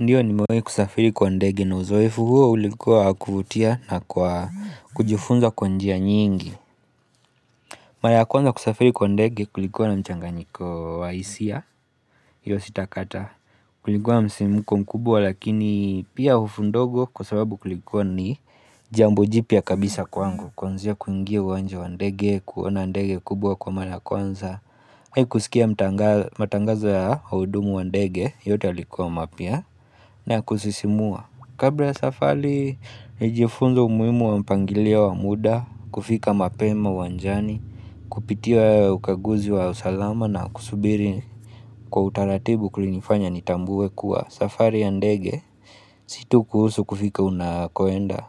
Ndiyo ni mwengi kusafiri kwa ndege na uzoefu huo ulikuwa wa kuvutia na kwa kujifunza kwa njia nyingi Mara ya kwanza kusafiri kwa ndege kulikuwa na mchanganyiko wa hisia hiyo sitakataa kulikuwa na msimuko mkubwa lakini pia hofu ndogo kwa sababu kulikuwa ni jambo jipya kabisa kwangu kuanzia kuingia uwanja wa ndege kuona ndege kubwa kwa mara ya kwanza Hei kusikia matangazo ya uhudumu wa ndege yote yalikuwa mapya na ya kusisimua Kabla ya safali, nilijifunza umuimu wa mpangilio wa muda, kufika mapema uwanjani, kupitia ukaguzi wa usalama na kusubiri kwa utaratibu kulinifanya nitambue kuwa safari ya ndege Si tu kuhusu kufika unakoenda,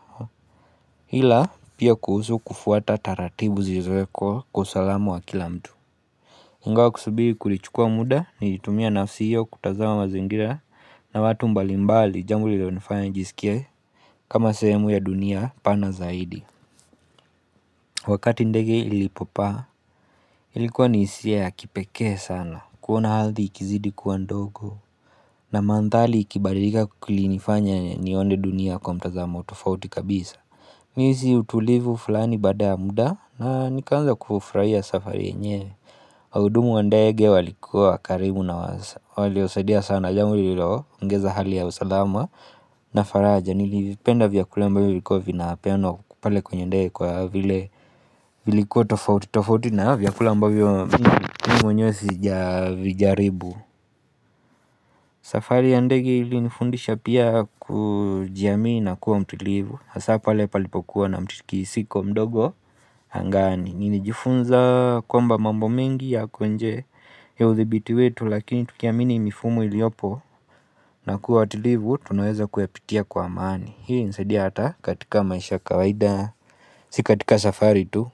ila pia kuhusu kufuata taratibu zilizowekwa kwa usalama wa kila mtu Ingawa kusubiri kulichukua muda nilitumia nafsi hiyo kutazama mazingira na watu mbalimbali jambo lililonifanya nijisikie kama sehemu ya dunia pana zaidi Wakati ndege ilipopaa Ilikuwa ni hisia ya kipekee sana kuona ardhi ikizidi kuwa ndogo na manthali ikibadirika kulinifanya nione dunia kwa mtazamo tofauti kabisa niliisi utulivu fulani baada ya muda na nikaanza kufufraia safari yenyewe waudumu wa ndege walikuwa karimu na waliosaidia sana jambo lililoongeza hali ya usalama na faraja nilivipenda vyakula ambavyo vilikuwa vinapeanwa pale kwenye ndege kwa vile vilikuwa tofauti tofauti na vyakula ambavyo mi mwenyewe sijavijaribu safari ya ndege ilinifundisha pia kujiamini na kuwa mtulivu hasa pale palipokuwa na mtikisiko mdogo hangani Nilijifunza kwamba mambo mengi yako nje ya udhibiti wetu lakini tukiamini mifumo iliopo na kuwa watulivu tunaeza kuyapitia kwa amani Hii nsaidia hata katika maisha ya kawaida Si katika safari tu.